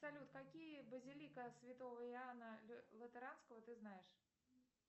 салют какие базилика святого иоана лютеранского ты знаешь